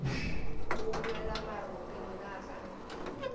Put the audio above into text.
o boela maropeng na ga